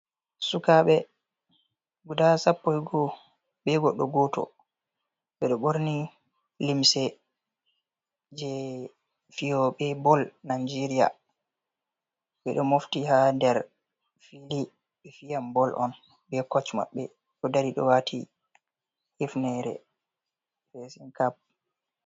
Sukaɓe, guda sappo , ɓe goɗɗo goto, ɓeɗo ɓorni limse je fiyoɓe bol Najeriya, ɓe ɗo mofti ha der filin bol on be kosh maɓɓe ɗo dari ɗo wati hinere fesin kap.